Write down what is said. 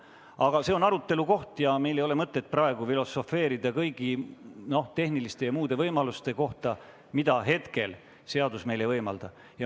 Aga see on arutelu koht ja meil ei ole mõtet praegu filosofeerida kõigi tehniliste ja muude võimaluste üle, mida hetkel seadus ei võimalda.